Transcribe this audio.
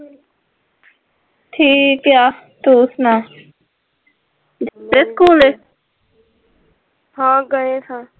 ਠੀਕ ਹੈ ਤੂੰ ਸੁਣਾ ਹਾਂ ਗਏ ਹਾਂ,